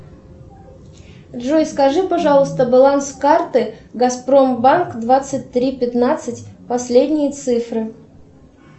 джой скажи пожалуйста баланс карты газпромбанк двадцать три пятнадцать последние цифры